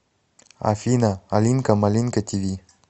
афина алинка малинка ти ви